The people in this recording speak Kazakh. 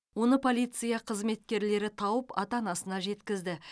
оны полиция қызметкерлері тауып ата анасына жеткізді